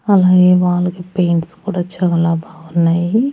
అలాగే వాలుకి పెయింట్స్ కూడా చాలా బావున్నాయి.